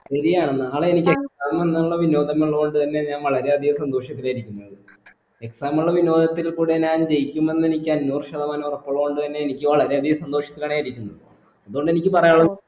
ശരിയാണ് നാളെ എനിക്ക് exam എഴുതാനുള്ള വിനോദങ്ങലുള്ളൊണ്ട് തന്നെ ഞാൻ വളരെയധികം സന്തോഷത്തിലാ ഇരിക്കുന്നത് exam ഉള്ള വിനോദത്തിൽ കൂടെ ഞാൻ ജയിക്കുമെന്ന് എനിക്ക് അഞ്ഞൂറ് ശതമാനം ഉറപ്പുള്ളതുകൊണ്ട് തന്നെ എനിക്ക് വളരെയധികം സന്തോഷത്തിലാണ് ഞാൻ ഇരിക്കുന്നത് അതോണ്ട് എനിക്ക് പറയാനുള്ളത്